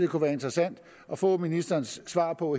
kunne være interessant at få ministerens svar på